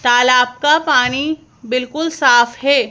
तालाब का पानी बिल्कुल साफ हैं।